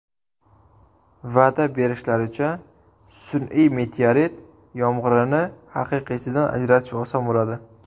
Va’da berishlaricha, sun’iy meteorit yomg‘irini haqiqiysidan ajratish oson bo‘ladi.